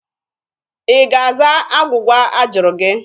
Ị ga-aza agwụgwa a jụrụ gị?